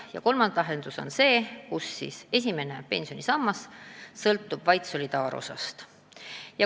Ja kolmas võimalus on, et esimene pensionisammas sõltub vaid solidaarsusosast.